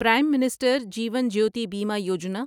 Prem minister Jeevan Jyoti Bima Yojana